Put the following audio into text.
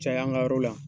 Caya an ka yɔrɔ la